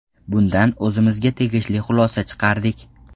Bundan o‘zimizga tegishli xulosa chiqardik.